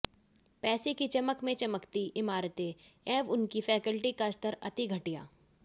पैसे की चमक में चमकती इमारतें एवं उनकी फैक्लटी का स्तर अति घटिया